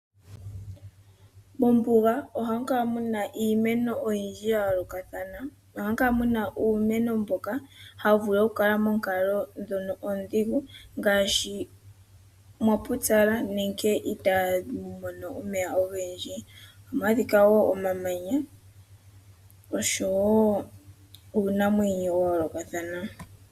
Mombuga ohamu kala muna iimeno oyindji yayoolokathana. Ohamu kala muna uumeno mboka hawu vulu okukala moonkalo ndhono oondhigu ngaashi mwapupyala nenge itamu mono omeya ogendji . Ohamu adhika wo omamanya oshowoo uunamwenyo wayoolokathana.